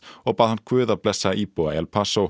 og bað hann guð að blessa íbúa El